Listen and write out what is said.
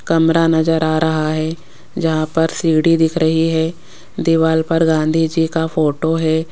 कमरा नज़र आ रहा है ज़हाँ पर सीढ़ी दिख रही है दिवाल पर गांधी जी का फोटो है।